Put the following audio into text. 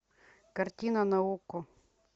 картина на окко